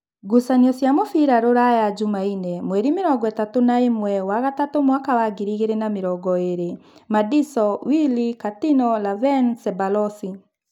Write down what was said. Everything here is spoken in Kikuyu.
Ngucanio cia mũbira Ruraya Jumaine mweri mĩrongoĩtatũ na ĩmwe wa gatatu mwaka wa ngiri igĩrĩ na mĩrongoĩrĩ: Madiso, Wili, Katino, Laven, Cebalosi